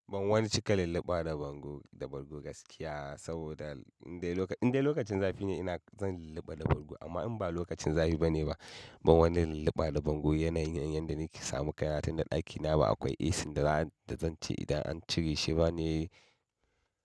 Ban wani cika lulluɓa da bargo, da bargo gaskiya saboda indai lokacin, indai lokacin zafi ne ina zan lulluɓa da bargo amma in ba lokacin zafi bane ba, ban wani lulluɓa da bargo yanayin yanda nake samu kaina tunda ɗakina ba akwai AC da zan ce idan an cire shi ba ne.